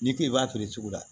N'i k'i b'a feere cogo la